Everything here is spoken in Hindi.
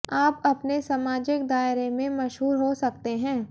आप अपने समाजिक दायरे में मशहूर हो सकते हैं